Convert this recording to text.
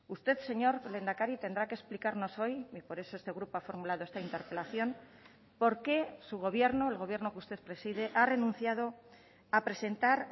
usted señor lehendakari tendrá que explicarnos hoy por eso este grupo ha formulado esta interpelación por qué su gobierno el gobierno que usted preside ha renunciado a presentar